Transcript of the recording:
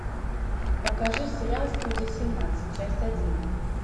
покажи сериал студия семнадцать часть один